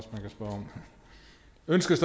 ønskes